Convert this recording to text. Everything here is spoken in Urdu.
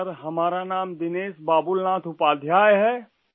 سر ہمارا نام دنیش بابل ناتھ اپادھیائے ہے